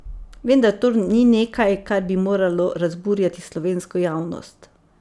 Vendar to ni nekaj, kar bi moralo razburjati slovensko javnost.